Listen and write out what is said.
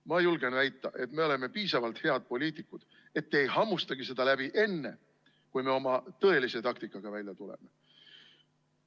Ma julgen väita, et me oleme piisavalt head poliitikud, et te ei hammustagi seda läbi enne, kui me oma tõelise taktikaga välja tuleme.